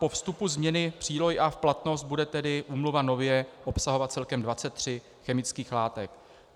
Po vstupu změny přílohy A v platnost bude tedy úmluva nově obsahovat celkem 23 chemických látek.